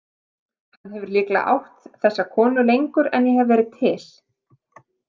Hann hefur líklega átt þessa konu lengur en ég hef verið til.